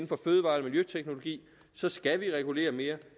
for fødevare eller miljøteknologi skal vi regulere mere